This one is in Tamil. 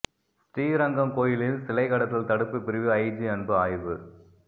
ஸ்ரீரங்கம் கோயிலில் சிலை கடத்தல் தடுப்பு பிரிவு ஐஜி அன்பு ஆய்வு